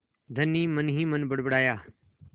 धनी मनहीमन बड़बड़ाया